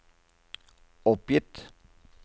oppgitt